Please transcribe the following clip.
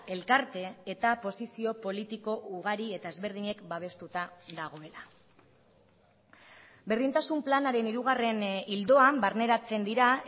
elkarte eta posizio politiko ugari eta ezberdinek babestuta dagoela berdintasun planaren hirugarren ildoan barneratzen dira